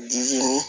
Disi ɲi